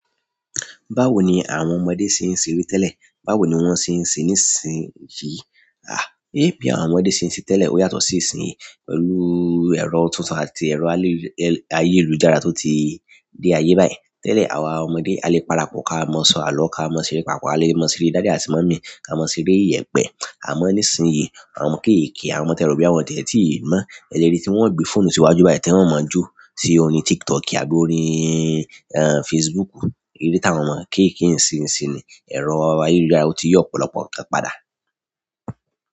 Báwo ni àwọn ọmọdé ṣe ń ṣere tẹ́lẹ̀? Báwo ni wọ́n ṣe ń ṣe nísinsìnyí? Ah, bi àwọn ọmọdé se n se tele o yàtọ̀ si nsinyi pẹ̀lú ero tuntun àti ero ayelu ayélujára to ti de aye bai. Tẹ́lẹ̀, àwa ọmọdé a lè parapọ̀ ká mọ sọ àlọ́, ká mọ ṣeré, pàápò lé wọ́n ṣeré daddy àti mommy ká mọ ṣeré ìyẹ̀pẹ̀. Àmọ́ nísinsìnyí, àwọn ọmọ kéékèè, àwọn ọmọ tẹ̀ro boya, àwọn tẹ̀tẹ̀ tí ń mọ́, ẹlẹ́rìí tí wọ́n ń gbé fóònù síwájú báyìí tí wọ́n mọ̀ọ́ jo sí orín TikTok àbí orn, ẹ, Facebook. Ere tawon mo keekee nsinsinyi se ni ero ayelujar ti yi opo nkan padà.